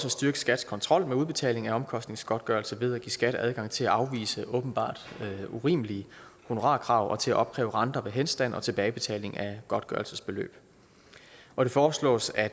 at styrke skats kontrol med udbetaling af omkostningsgodtgørelse ved at give skat adgang til at afvise åbenbart urimelige honorarkrav og til at opkræve renter ved henstand og tilbagebetaling af godtgørelsesbeløb og det foreslås at